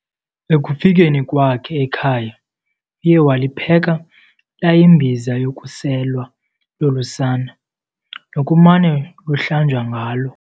Ekufikeni kwakhe ekhaya, uye walipheka layimbiza yokuselwa lolu sana, nokumane luhlanjwa ngalo.